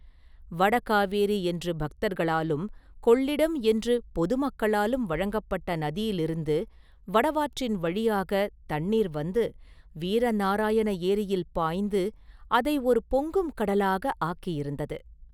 வட காவேரி என்று பக்தர்களாலும் கொள்ளிடம் என்று பொது மக்களாலும் வழங்கப்பட்ட நதியிலிருந்து வடவாற்றின் வழியாகத் தண்ணீர் வந்து வீர நாராயண ஏரியில் பாய்ந்து அதை ஒரு பொங்கும் கடலாக ஆக்கியிருந்தது.